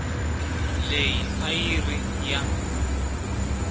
leyi a yi ri ya